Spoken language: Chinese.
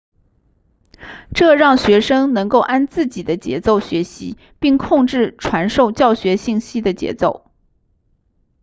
这让学生能够按自己的节奏学习并控制传授教学信息的节奏